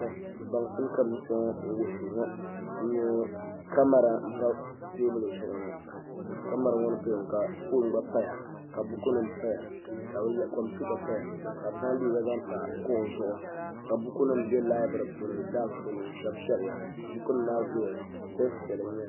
baŋsim ka bi ʒi kpɛ ŋɔ n wuhuri ŋɔ n nyɛ kamɛra n pa teebuli zuɣu ŋɔ kamɛra ŋɔ ni paya ŋɔ ka foon gba paya ka buku nim paya ka kompiuta paya ka bi zaŋ liiga zaɣ pa kuɣu zuɣu ka buku nim bɛ laibiri puuni daas ni n shɛbi shɛbiya buku nim maa zooya dɛs piɛlli n nyɛli